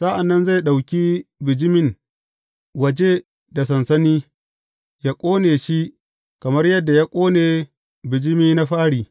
Sa’an nan zai ɗauki bijimin waje da sansani yă ƙone shi kamar yadda ya ƙone bijimi na fari.